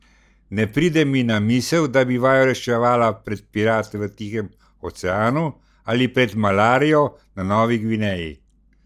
Ne pride mi na misel, da bi vaju reševala pred pirati v Tihem oceanu ali pred malarijo na Novi Gvineji.